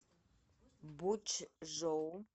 бочжоу